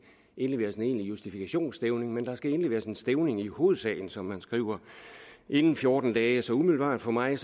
indleveres en egentlig justifikationsstævning men der skal indleveres en stævning i hovedsagen som man skriver inden fjorten dage så umiddelbart for mig